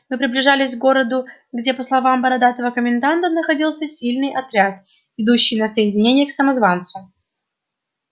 мы приближались к городу где по словам бородатого коменданта находился сильный отряд идущий на соединение к самозванцу